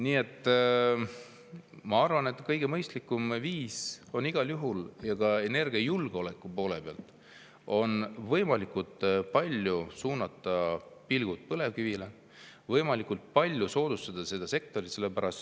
Nii et ma arvan, et kõige mõistlikum on igal juhul, ka energiajulgeoleku seisukohalt, suunata võimalikult palju pilgud põlevkivile, võimalikult palju soodustada seda sektorit.